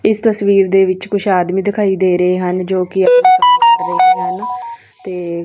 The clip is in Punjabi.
ਇਸ ਤਸਵੀਰ ਦੇ ਵਿੱਚ ਕੁਝ ਆਦਮੀ ਦਿਖਾਈ ਦੇ ਰਹੇ ਹਨ ਜੋ ਕਿ ਹਨ ਤੇ--